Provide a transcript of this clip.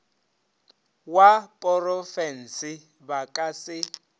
wa porofense ba ka se